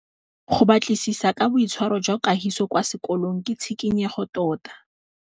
Go batlisisa ka boitshwaro jwa Kagiso kwa sekolong ke tshikinyêgô tota.